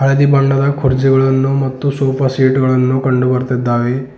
ಹಳದಿ ಬಣ್ಣದ ಕುರ್ಚಿಗಳನ್ನು ಮತ್ತು ಸೋಫಾ ಸೆಟ್ ಗಳನ್ನು ಕಂಡು ಬರುತ್ತಿದ್ದಾವೆ.